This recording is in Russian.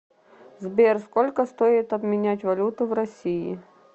сбер сколько стоит обменять валюту в россии